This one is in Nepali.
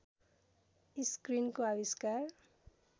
स्क्रिनको आविष्कार